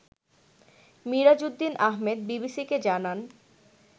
মিরাজউদ্দীন আহমেদ বিবিসিকে জানান